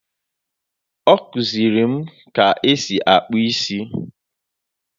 Ọ kụziri m ka esi akpụ isi